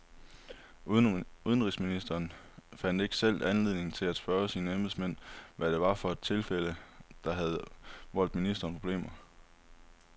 Udenrigsministeren fandt ikke selv anledning til at spørge sine embedsmænd, hvad det var for et tilfælde, der havde voldt ministeriet problemer.